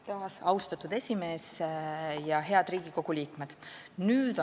Taas, austatud esimees ja head Riigikogu liikmed!